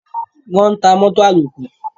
Wọ́n ń ta mótò àlòkù.